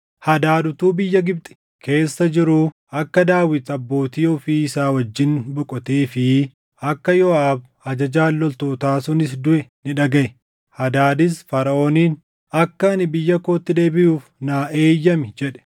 Hadaad utuu biyya Gibxi keessa jiruu akka Daawit abbootii ofii isaa wajjin boqotee fi akka Yooʼaab ajajaan loltootaa sunis duʼe ni dhagaʼe. Hadaadis Faraʼooniin, “Akka ani biyya kootti deebiʼuuf naa eeyyami” jedhe.